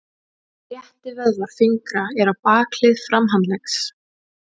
Réttivöðvar fingra eru á bakhlið framhandleggs.